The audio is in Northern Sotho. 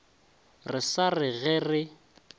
re sa re ge re